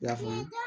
I y'a faamu